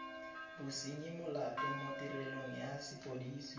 bosenyimolato mo tirelong ya sepodisi